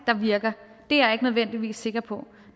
der virker er jeg ikke nødvendigvis sikker på